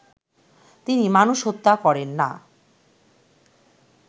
তিনি মানুষ হত্যা করেন না